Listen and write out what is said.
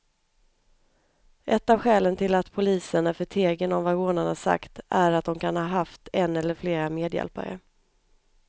Ett av skälen till att polisen är förtegen om vad rånarna sagt är att de kan ha haft en eller flera medhjälpare.